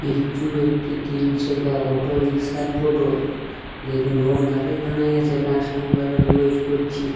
এটো একটি তিন চাকা অটো রিক্সার ফটো । যেটো রোড দাঁড়ায়ে দাঁড়ায়ে আছেকাস্টমার এর ওয়েট করছে।